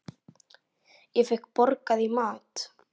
Fékk borgað í mat.